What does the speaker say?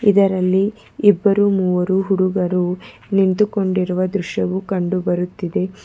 ಇದರಲ್ಲಿ ಇಬ್ಬರು ಮೂವರು ಹುಡುಗರು ನಿಂತುಕೊಂಡಿರುವ ದೃಶ್ಯವು ಕಂಡು ಬರುತ್ತಿದೆ.